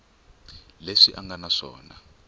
leswi a nga na swona